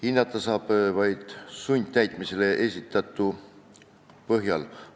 Hinnata saab seda vaid sundtäitmisele esitatu põhjal.